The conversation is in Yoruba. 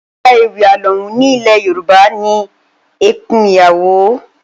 Lára ewì alohùn ní ilẹ̀ Yorùbá ni ẹkún ìyàwó